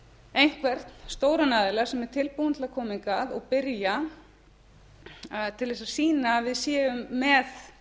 einhvern stóran aðila sem er tilbúinn til að koma hingað og byrja til að sýna að við séum með